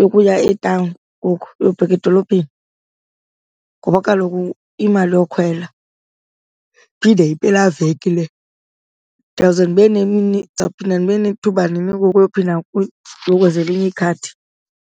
yokuya etawuni ngoku, yobheka edolophini, ngoba kaloku imali yokhwela, iphinde yimpelaveki le. Ndiyawuze ndibe nemini, ndizawuphinda ndibe nethuba nini ngoku yophinda uyokwenza elinye ikhadi?